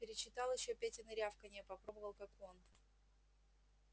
перечитал ещё петины рявканья попробовал как он